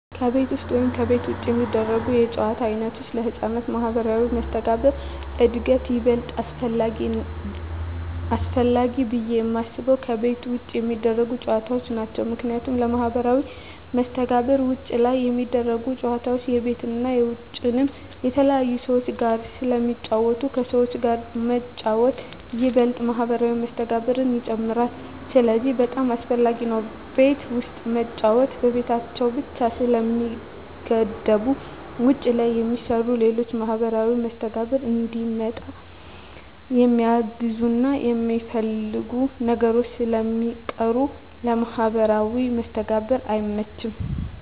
ከቤት ውስጥ ወይም ከቤት ውጭ የሚደረጉ የጨዋታ ዓይነቶች ለሕፃናት ማኅበራዊ መስተጋብር እድገት ይበልጥ አስፈላጊው ብየ የማስበው ከቤት ውጭ የሚደረጉ ጨዎታዎች ናቸው ምክንያቱም ለማህበራዊ መስተጋብር ውጭ ላይ ሚደረጉት ጨወታዎች የቤትንም የውጭንም ከተለያዩ ሰዎች ጋር ስለሚጫወቱ ከሰዎች ጋር መጫወት ይበልጥ ማህበራዊ መስተጋብርን ይጨምራል ስለዚህ በጣም አሰፈላጊ ነው ቤት ውስጥ መጫወት በቤታቸው ብቻ ስለሚገደቡ ውጭ ላይ የሚሰሩ ሌሎች ለማህበራዊ መስተጋብር እንዲመጣ የሚያግዙና የሚያስፈልጉ ነገሮች ስለሚቀሩ ለማህበራዊ መስተጋብር አይመችም።